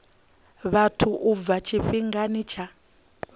vhathu u bva tshifhingani tsha